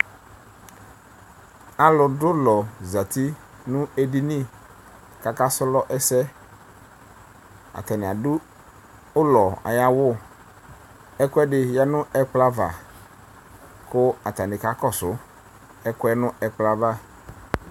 Alʋdʋ ʋlɔ zati nʋ edini kʋ akaslɔ ɛsɛ Atanɩ adʋ ʋlɔ ayʋ awʋ Ɛkʋɛdɩ yǝ nʋ ɛkplɔ ava kʋ atanɩ kakɔsʋ ɛkʋ yɛ nʋ ɛkplɔ yɛ ava